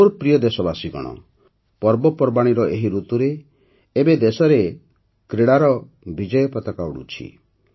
ମୋର ପ୍ରିୟ ଦେଶବାସୀଗଣ ପର୍ବପର୍ବାଣୀର ଏହି ଋତୁରେ ଏବେ ଦେଶରେ କ୍ରୀଡ଼ାର ମଧ୍ୟ ବିଜୟ ପତାକା ଉଡ଼ୁଛି